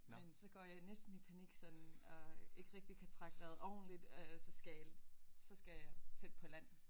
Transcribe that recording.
Men så går jeg næsten i panik sådan og ikke rigtig kan trække vejret ordentligt og så skal så skal jeg tæt på land